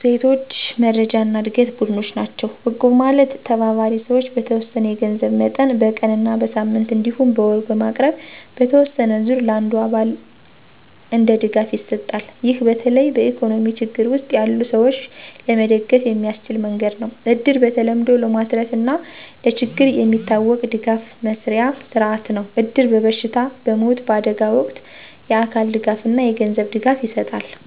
ሴቶች መረጃና ዕድገት ቡድኖች ናቸው። እቁብ ማለት ተባባሪ ሰዎች በተወሰነ የገንዘብ መጠን በቀን እና በሳምንት እንዲሁም በወር በማቅረብ በተወሰነ ዙር ለአንዱ አባል እንደ ድጋፍ ይሰጣል። ይህ በተለይ በኢኮኖሚ ችግር ውስጥ ያሉ ሰዎች ለመደገፍ የሚያስችል መንገድ ነው። እድር በተለምዶ ለማትረፍና ለችግር የሚታወቅ ድጋፍ መስርያ ሥርዓት ነው። እድር በበሽታ፣ በሞት፣ በአደጋ ወቅት የአካል ድጋፍና የገንዘብ ድጋፍ ይሰጣል።